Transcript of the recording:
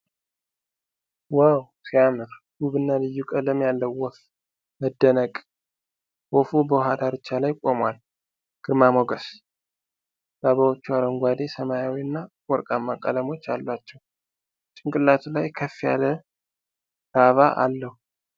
ዋው ሲያምር! ውብና ልዩ ቀለም ያለው ወፍ። መደነቅ! ወፉ በውሃ ዳርቻ ላይ ቆሟል። ግርማ ሞገስ! ላባዎቹ አረንጓዴ፣ ሰማያዊና ወርቃማ ቀለሞች አሏቸው። ጭንቅላቱ ላይ ከፍ ያለ ላባ አለው።